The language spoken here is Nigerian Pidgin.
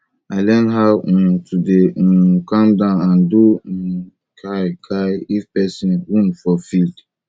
i learn how um to dey um calm down and do um kia kia if person wound for field